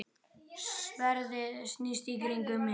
Sverðið snýst í kringum mig.